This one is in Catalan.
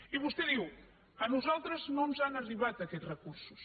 i vostè diu a nosaltres no ens han arribat aquests recursos